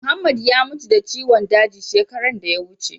Muhammed ya mutu da ciwon daji shekaran da ya wuce.